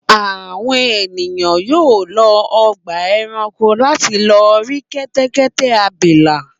Àwọn ènìyàn yóò lọ ọgbà-ẹranko láti lọ rí kẹ́tẹ́kẹ́tẹ́ abilà.